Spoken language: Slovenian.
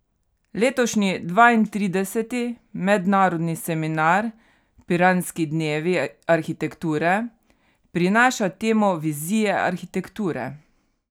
Letošnji dvaintrideseti mednarodni seminar Piranski dnevi arhitekture prinaša temo Vizije arhitekture.